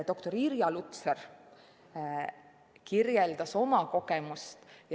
Doktor Irja Lutsar kirjeldas oma kogemust.